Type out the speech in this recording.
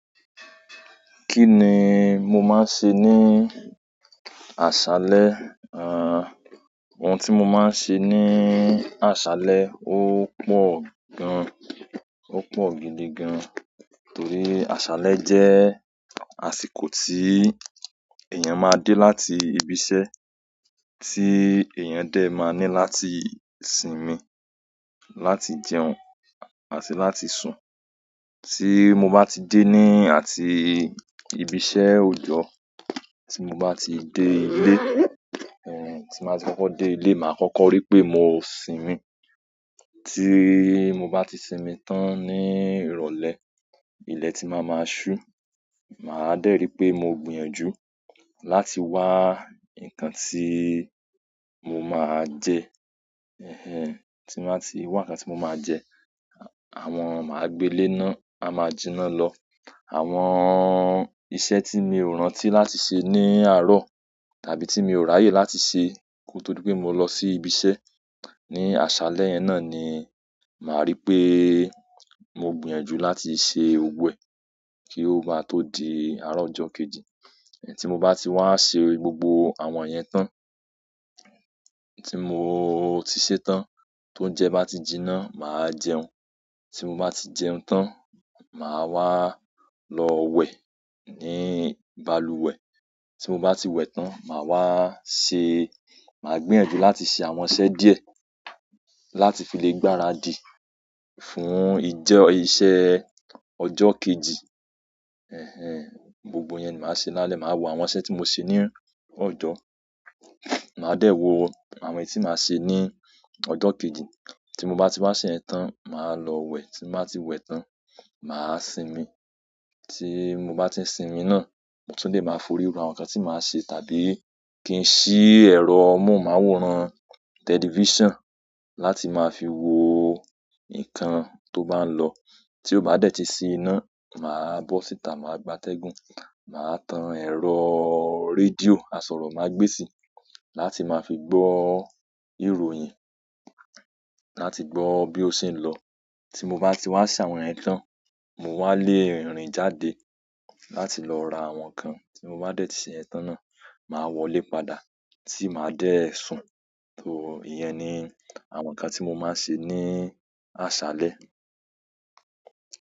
Kí ni mo máa ń se níì àsálẹ́? Ohun tí mo máa ń se ní àsálẹ́ ó pọ̀ gan-an, ó pọ̀ gidi gan-an, torí àsálẹ́ jẹ́ àsìkò tíì èèyàn máa dé láti ibiṣẹ́, tí èèyàn dẹ máa ní láti sinmi, láti jẹun àti láti sùn. Tí mo bá ti dé ní àti ibiṣẹ́ ọjọ́, tí mo bá ti dé ilé, tí mo bá ti kọ́kọ́ dé ilé, màá kọ́kọ́ rí pé mo sinmi, ti mo ba ti sinmi tan ni ìrọ̀lẹ́, ile ti maa maa su, maa de ri pe mo gbìyànjú láti wa nǹkan tíì mo máa jẹ, tí mo bá ti wá nǹkan tí mo máa jẹ, àwọn-- màá gbe lé iná, á máa jinná lọ. Àwọn iṣẹ́ tí mi ò rántí láti ṣe ní àárọ̀ tàbí tí mi ò ráyè láti ṣe ki o to di pé mo lọ sí ibiṣẹ́ ní àsálẹ́ náà ni màá rí pé mo gbìyànjú láti ṣe gbogbo ẹ̀ kí ó maá tó di àárọ̀ ọjọ́ kejì. Tí mo bá ti wá ṣe gbogbo àwọn iyẹn tán, tí mo ti ṣẹ́ tán tó ń jẹ bá ti jinná, màá jẹun. Tí mo bá ti jẹun tán, màá wá lọ wẹ̀ ní balùwẹ̀. Tí mo bá ti wẹ̀ tán, màá wá ṣe, màá gbìyànjú láti ṣe àwọn iṣẹ́ díẹ̀ láti fi lè gbára dì fún ìjẹ- iṣẹ́ ọjọ́ kejì. Gbogbo iyẹn ni màá ṣe lálẹ́, màá wo àwọn iṣẹ́ tí mo ṣe ní ọjọ́, màá dẹ̀ wò àwọn èyí tí màá ṣe ní ọjọ́ kejì. Tí mo bá ti wá ṣe iyẹn tán, màá lọ wẹ̀, tí mo bá ti wẹ̀ tán, màá sinmi. Tíì mo bá ti n sinmi náà, mo tún lé màá forí ro àwọn nǹkan tí màá ṣe tàbí kí n sì ẹ̀rọ mọ̀hunmáwòrán tẹlifísàn láti máa fi wo nǹkan tó bá n lọ. Tí ó bá dẹ̀ ti sí iná, màá bọ́ síta, màá gbátẹ́gùn, màá tan ẹ̀rọ rédíò, àsọ̀rọ̀ máa gbésì láti máa fi gbọ́ ìròyìn, láti gbọ́ bí ó ṣe ń lọ. Tí mo bá ti wá ṣe àwọn iyẹn tán, mó wá lé rin jáde láti lọ ra àwọn nǹkan, tí mo bá dẹ̀ ti ṣe iyẹn tán náà, màá wọlé padà tí màá dẹ̀ sùn. Tó ìyẹn ni àwọn nǹkan tí mo máa ń ṣe ní àsálẹ́.